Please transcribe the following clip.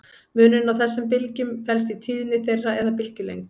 Munurinn á þessum bylgjum felst í tíðni þeirra eða bylgjulengd.